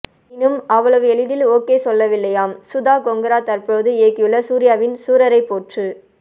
எனினும் அவ்வளவு எளிதில் ஓகே சொல்லவில்லையாம் சுதா கொங்கரா தற்போது இயக்கியுள்ள சூர்யாவின் சூரரைப் போற்று